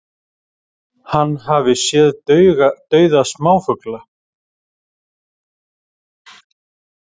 Hann hafi séð dauða smáfugla